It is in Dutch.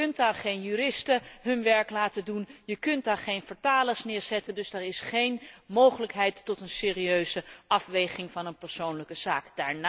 Je kunt daar geen juristen hun werk laten doen, je kunt daar geen vertalers neerzetten, dus daar is geen mogelijkheid tot een serieuze afweging van een persoonlijke zaak.